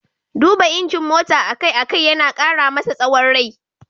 Duba injin mota a kai a kai yana ƙara masa tsawon rai.